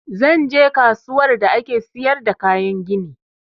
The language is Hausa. Zan je kasuwar da ake siyar da kayan gini